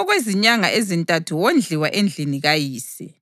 Okwezinyanga ezintathu wondliwa endlini kayise.